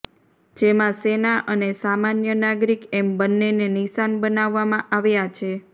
જેમાં સેના અને સામાન્ય નાગરિક એમ બન્નેને નિશાન બનાવવામાં આવ્યા છે